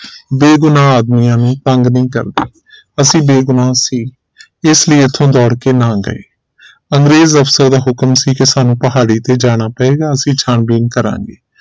ਬੇਗੁਨਾਹ ਆਦਮੀਆਂ ਨੂੰ ਤੰਗ ਨਹੀਂ ਕਰਦੀ ਅਸੀਂ ਬੇਗੁਨਾਹ ਸੀ ਇਸ ਲਈ ਇਥੋਂ ਦੌੜ ਕੇ ਨਾਗਏ ਅੰਗਰੇਜ਼ ਅਫਸਰ ਦਾ ਹੁਕਮ ਸੀ ਸਾਨੂੰ ਪਹਾੜੀ ਤੇ ਜਾਣਾ ਪਏਗਾ ਅਸੀਂ ਛਾਣ ਬੀਨ ਕਰਾਂਗੇ